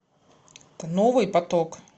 новый поток